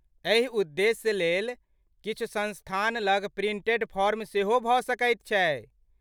एहि उद्देश्य लेल किछु संस्थान लग प्रिंटेड फॉर्म सेहो भ सकैत छै ।